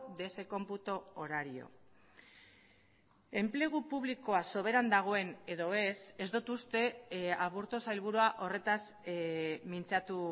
de ese cómputo horario enplegu publikoa soberan dagoen edo ez ez dut uste aburto sailburua horretaz mintzatu